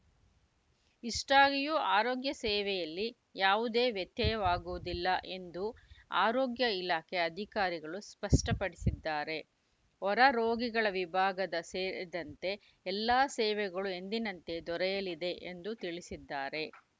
ಇಷ್ಟಾಗಿಯೂ ಆರೋಗ್ಯ ಸೇವೆಯಲ್ಲಿ ಯಾವುದೇ ವ್ಯತ್ಯಯವಾಗುವುದಿಲ್ಲ ಎಂದು ಆರೋಗ್ಯ ಇಲಾಖೆ ಅಧಿಕಾರಿಗಳು ಸ್ಪಷ್ಟಪಡಿಸಿದ್ದಾರೆ ಹೊರ ರೋಗಿಗಳ ವಿಭಾಗದ ಸೇರಿದಂತೆ ಎಲ್ಲ ಸೇವೆಗಳು ಎಂದಿನಂತೆ ದೊರೆಯಲಿದೆ ಎಂದು ತಿಳಿಸಿದ್ದಾರೆ